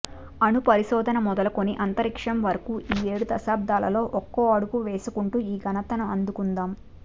అణు పరిశోధన మొదలుకొని అంతరిక్షం వరకూ ఈ ఏడు దశాబ్దాలలో ఒక్కో అడుగు వేసుకుంటూ ఈ ఘనతను అందుకున్నాం